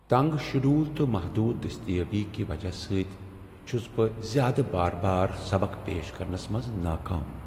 تنگ شیڈول تہٕ محدود دستیٲبی کہ وجہ سۭتۍ چھس بہٕ زیادٕ بار بار سبق پیش کرنس منٛز ناکام۔